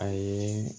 A ye